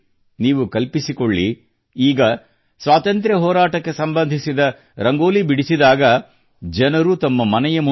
ನೀವು ಕಲ್ಪಿಸಿಕೊಳ್ಳಿ ಈಗ ಸ್ವಾತಂತ್ರ್ಯ ಹೋರಾಟಕ್ಕೆ ಸಂಬಂಧಿಸಿದ ರಂಗೋಲಿ ಬಿಡಿಸಿದಾಗ ಜನರು ತಮ್ಮ ಮನೆಯ ಮುಂದೆ